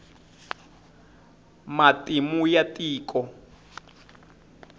matimu ya tiko